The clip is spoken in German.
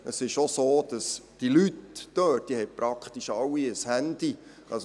Es ist so, dass die Leute dort praktisch alle ein Handy haben.